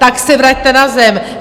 Tak se vraťte na zem!